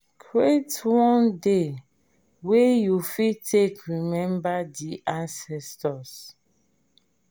create one day wey you fit take remember di ancestor